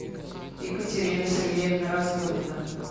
екатерина сергеевна разгонина